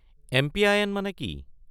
MPIN. মানে কি?